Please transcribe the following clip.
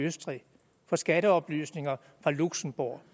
østrig og skatteoplysninger fra luxembourg